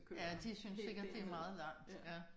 Ja de synes sikkert det er meget langt ja